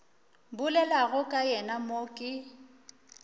bolelago ka yena mo ke